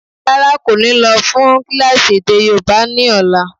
Rárá, kò ní lọ́ fún kílásì èdè yóòbá ni ọ̀la.